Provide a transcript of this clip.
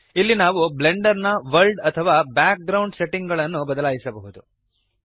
ಇಲ್ಲಿ ನಾವು ಬ್ಲೆಂಡರ್ ನ ವರ್ಲ್ಡ್ ಅಥವಾ ಬ್ಯಾಕ್ ಗ್ರೌಂಡ್ ನ ಸೆಟ್ಟಿಂಗ್ ಗಳನ್ನು ಬದಲಾಯಿಸಬಹುದು